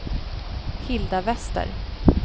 Hilda Wester